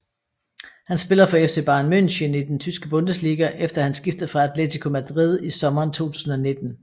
Han spiller for FC Bayern München i den Tyske Bundesliga efter han skiftede fra Atletico Madrid i sommeren 2019